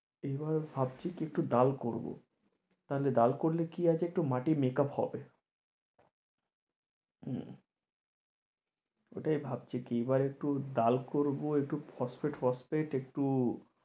এবার ভাবছি কি একটু ডাল করবো তাহলে ডাল করলে কি আছে একটু মাটি makeup হবে ওইটাই ভাবছি কি এবার একটু ডাল করবো একটু ফসফেট ফসফেট একটু